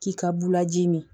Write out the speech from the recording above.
K'i ka bulaji min